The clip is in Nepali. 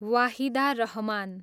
वाहिदा रहमान